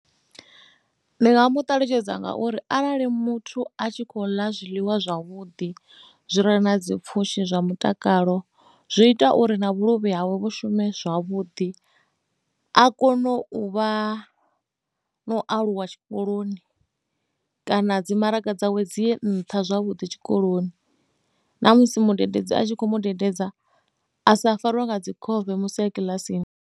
Ndi nga mu ṱalutshedza ngauri arali muthu a tshi khou ḽa zwiḽiwa zwavhuḓi zwi re na pfhushi zwa mutakalo zwi ita uri na vhuluvhi havho shume zwavhuḓi a kone u vha na u aluwa tshikoloni kana dzi maraga dzawe dzi nnṱha zwavhuḓi tshikoloni na musi mudededzi a tshi kho mudededza a sa fariwe nga dzi khofhe musi a kiḽasini.